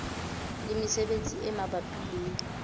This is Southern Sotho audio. le mesebetsi e mabapi le